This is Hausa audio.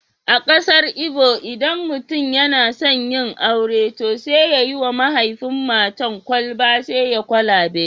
A kasar Igbo, idan mutum yana son yin aure, to sai ya yi wa mahaifin matar kwalba sai kwalabe